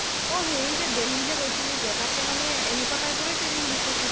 অ' হেৰি যে দেলহী যে গৈছিলি যে তাতে মানে এনেকুৱা type ৰে training দিছে ছাগে